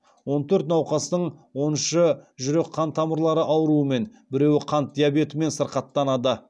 он төрт науқастың он үші жүрек қан тамырлары ауруымен біреуі қант диабетімен сырқаттанады